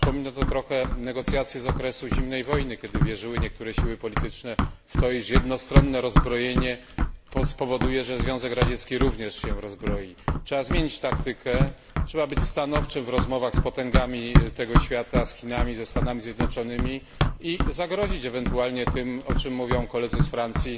Przypomina to trochę negocjacje z okresu zimnej wojny, kiedy niektóre siły polityczne wierzyły, iż jednostronne rozbrojenie spowoduje, że Związek Radziecki również się rozbroi. Trzeba zmienić taktykę i być stanowczym w rozmowach z potęgami tego świata z Chinami, Stanami Zjednoczonymi i zagrozić ewentualnie tym, o czym mówią koledzy z Francji,